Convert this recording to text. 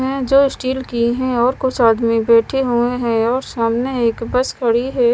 हैं जो स्टील की हैं और कुछ आदमी बैठे हुए हैं और सामने एक बस खड़ी है।